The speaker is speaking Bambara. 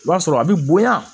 I b'a sɔrɔ a bi bonya